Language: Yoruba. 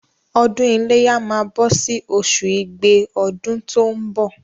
Ọdún iléyá máa bọ̀ sì oṣù igbe ọdún tó ń bọ̀.